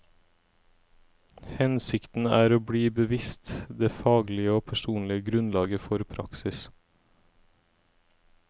Hensikten er å bli bevisst det faglige og personlige grunnlaget for praksis.